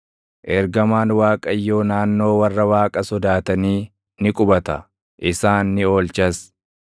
Ergamaan Waaqayyoo naannoo warra Waaqa sodaatanii ni qubata; isaan ni oolchas.